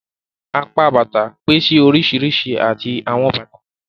Apá Bàtà pèsè oríṣiríṣi awọn bàtà.